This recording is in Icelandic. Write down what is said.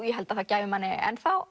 ég held það gæfi manni ennþá